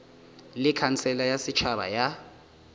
le khansele ya setšhaba ya